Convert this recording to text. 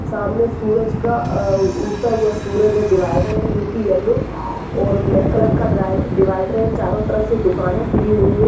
सामने सूरज का अ-उग्ता हुआ सूरज है। डिवाइडर है जो कि येलो और ब्लैक कलर का ड्राइव डिवाइडर है। चारों तरफ से दुकाने खुली हुई हैं।